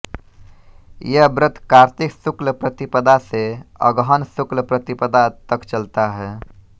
यह व्रत कार्तिक शुक्ल प्रतिपदा से अगहन शुक्ल प्रतिपदा तक चलता हैं